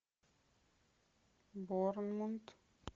борнмут